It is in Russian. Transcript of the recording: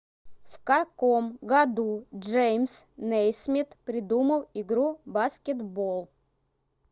в каком году джеймс нейсмит придумал игру баскетбол